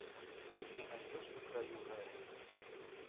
ты мне найдешь на краю рая